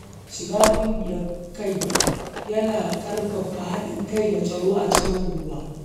Shiga ƙungiyar sa-kai yana ƙarfafa haɗin kai da tsaro a cikin unguwa.